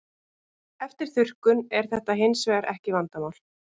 Eftir þurrkun er þetta hins vegar ekki vandamál.